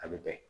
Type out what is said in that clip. A bɛ bɛn